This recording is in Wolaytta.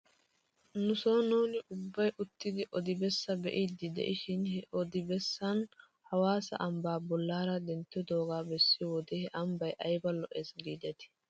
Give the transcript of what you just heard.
Nuson nuuni ubbay uttidi odi bessaa be'iiddi de'ishin he odi bessan hawaassa ambbaa bolaara denttidoogaa bessiyoo wode he ambbay ayba lo'es giidetii